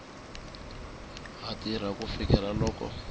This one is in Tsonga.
ha tirha ku fikela loko